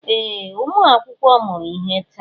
Ee! Ụmụ akwụkwọ mụrụ ihe taa.